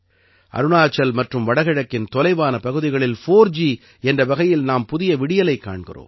அருணாச்சல் மற்றும் வடகிழக்கின் தொலைவான பகுதிகளில் 4ஜி என்ற வகையில் நாம் புதிய விடியலைக் காண்கிறோம்